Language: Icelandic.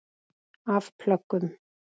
Af plöggum